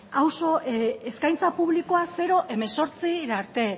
auzo eskaintza publikoa zero hemezortzira arte